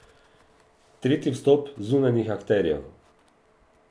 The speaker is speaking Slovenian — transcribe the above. Tretji vstop zunanjih akterjev.